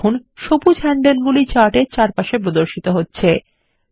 দেখুন সবুজ হ্যান্ডলগুলি চার্ট এর চারপাশে প্রদর্শিত হচ্ছে